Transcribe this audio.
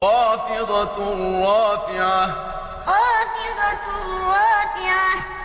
خَافِضَةٌ رَّافِعَةٌ خَافِضَةٌ رَّافِعَةٌ